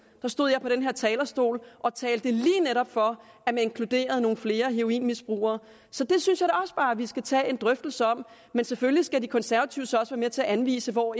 stod jeg på den her talerstol og talte lige netop for at man inkluderede nogle flere heroinmisbrugere så det synes også bare at vi skal tage en drøftelse om men selvfølgelig skal de konservative så også være med til at anvise hvor